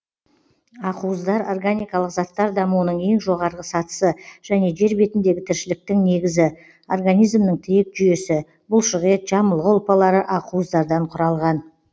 ақуыздар органикалық заттар дамуының ең жоғарғы сатысы және жер бетіндегі тіршіліктің негізі организмнің тірек жүйесі бұлшықет жамылғы ұлпалары ақуыздардан құралған